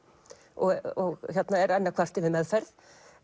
og er enn að kvarta yfir meðferð